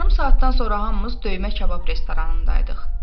Yarım saatdan sonra hamımız döymə kabab restoranındaydıq.